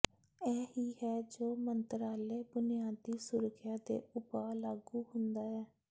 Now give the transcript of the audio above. ਇਹ ਹੀ ਹੈ ਜੋ ਮੰਤਰਾਲੇ ਬੁਨਿਆਦੀ ਸੁਰੱਖਿਆ ਦੇ ਉਪਾਅ ਲਾਗੂ ਹੁੰਦਾ ਹੈ